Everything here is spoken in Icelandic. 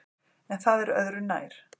En það er öðru nær!